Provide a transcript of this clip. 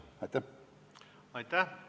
Aitäh!